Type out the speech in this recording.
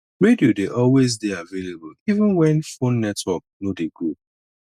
radio dey always dey available even when phone network no dey go